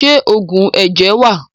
Ṣé oògùn ẹ̀jẹ̀ wà?